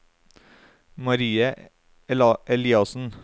Marie Eliassen